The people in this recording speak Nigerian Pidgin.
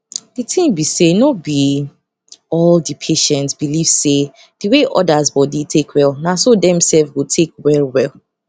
di ting be say no be all the patients believe say the way others body take well naso dem sef go take well well